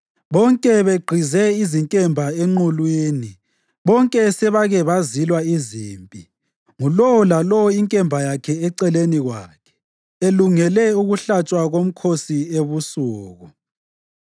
bonke begqize izinkemba enqulwini, bonke sebake bazilwa izimpi, ngulowo lalowo inkemba yakhe eceleni kwakhe, elungele ukuhlatshwa komkhosi ebusuku.